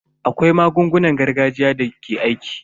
Akwai magungunan gargajiya da ke aiki.